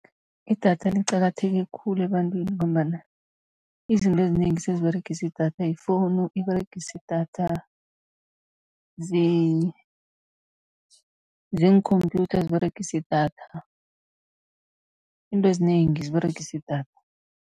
Idatha liqakatheke khulu ebantwini, ngombana izinto ezinengi seziberegisa idatha, yifowunu iberegisa idatha, ziinkhomphyutha ziberegisa idatha, izinto ezinengi ziberegisa idatha.